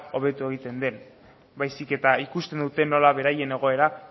hobetu egiten den baizik eta ikusten dute nola beraien egoera